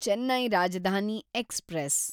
Chennai Rajdhani express